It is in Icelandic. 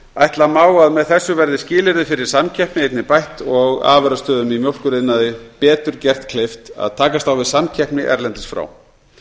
ætla má að með þessu verði skilyrði fyrir samkeppni einnig bætt og afurðastöðvum í mjólkuriðnaði betur gert kleift að takast á við samkeppni erlendis frá